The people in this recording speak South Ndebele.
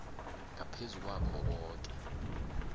ngaphezu kwakho koke